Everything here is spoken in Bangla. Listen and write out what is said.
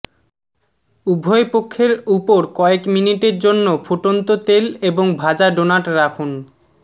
উভয় পক্ষের উপর কয়েক মিনিটের জন্য ফুটন্ত তেল এবং ভাজা ডোনাট রাখুন